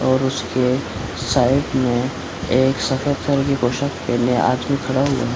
और उसके साइड में एक सफेद कलर की पोशाक पहने आदमी खड़ा हुआ है।